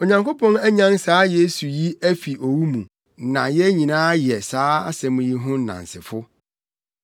Onyankopɔn anyan saa Yesu yi afi owu mu, na yɛn nyinaa yɛ saa asɛm yi ho nnansefo.